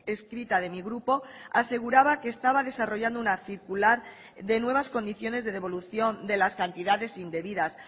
escrita de mi grupo aseguraba que estaba desarrollando una circular de nuevas condiciones de devolución de las cantidades indebidas